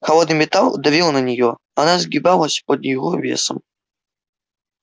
холодный металл давил на неё она сгибалась под его весом